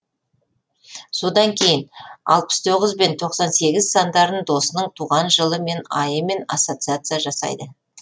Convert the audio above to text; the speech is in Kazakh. содан кейін алпыс тоғыз бентоқсан сегіз сандарын досының туған жылы мен айымен ассоциация жасайды